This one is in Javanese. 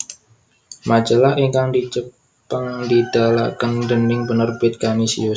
Majalah ingkang dicepeng didalaken dening Penerbit Kanisius